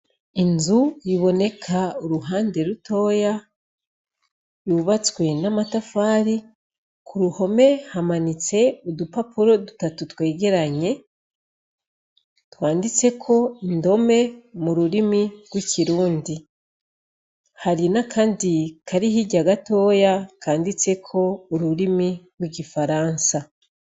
Inzu yiboneka uruhande rutoya yubatswe n'amatafari ku ruhome hamanitse udupapuro dutatu twegeranye twanditse ko indome mu rurimi rw'ikirundi hari na, kandi kariho irya gatoya la kanditseko ururimi rw' igifaransa.